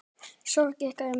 Sorg ykkar er mikil.